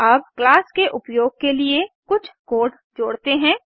अब क्लास के उपयोग के लिए कुछ कोड जोड़ते हैं